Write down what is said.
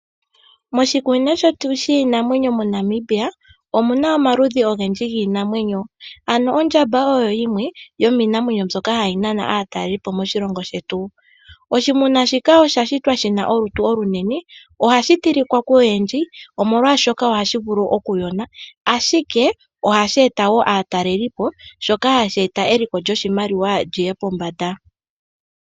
Moshikunino shetu shiinamwenyo moNamibia, omu na omaludhi ogendji giinamwenyo. Ondjamba oyo yimwe yomiinamwenyo mbyoka hayi nana aatalelipo moshilongo shetu. Oshinamwenyo shika osha shitwa shi na olutu olunene. Ohashi tilika koyendji, molwashoka ohashi vulu okuyona, ashike ohashi eta wo aatalelipo shoka hashi eta eliko lyoshilongo li ye pombanda.